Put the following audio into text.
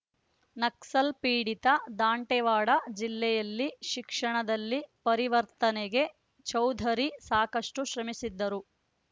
ನಕ್ಸಲ್‌ ಪೀಡಿತ ದಾಂಟೆವಾಡ ಜಿಲ್ಲೆಯಲ್ಲಿ ಶಿಕ್ಷಣದಲ್ಲಿ ಪರಿವರ್ತನೆಗೆ ಚೌಧರಿ ಸಾಕಷ್ಟುಶ್ರಮಿಸಿದ್ದರು